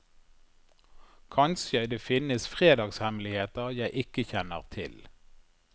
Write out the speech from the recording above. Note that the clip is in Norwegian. Kanskje det finnes fredagshemmeligheter jeg ikke kjenner til.